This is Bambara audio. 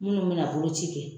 Munnu be na boloci kɛ.